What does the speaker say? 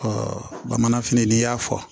bamananfini n'i y'a fɔ